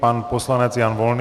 Pan poslanec Jan Volný.